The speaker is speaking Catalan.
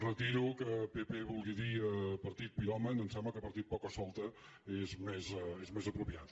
retiro que pp vulgui dir partit piròman em sembla que partit pocasolta és més apropiat